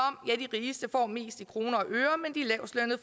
rigeste får mest i kroner